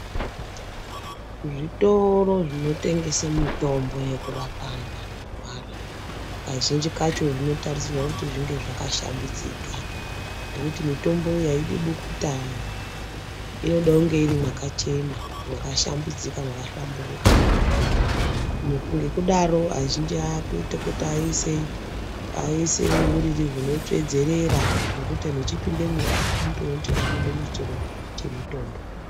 Zvitoro zvinotengese mitombo yekurape antu anorwara kazhinji kacho zvinotarisirwe kuti zvinge zvakashambidzika ngekuti mitombo iyi aidi bukuta inode kunge iri mwakachena mwakashambidzika mwakahlamburuka neku ngekudaro azhinji akuite kuti aise aise uriri hunotsvedzerere zvekuti kana antu achipindemwo aa anotoone kuti apinde muchitoro chemutombo.